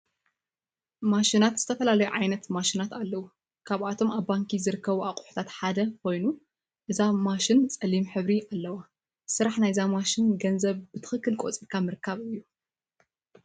ማሽናት ዝተፈላለዩ ዓይነት ማሽናት አለው፡፡ ካብቶም አብ ባንኪ ዝርከቡ አቁሑታት ሓደ ኮይኑ፤ እዛ ማሽን ፀሊም ሕብሪ አለዋ፡፡ ስራሕ ናይዛ ማሽን ገንዘብ ብትክክል ቆፂርካ ምርካብ እዩ፡፡